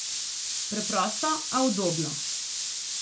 Preprosto, a udobno.